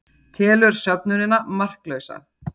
Telur söfnunina marklausa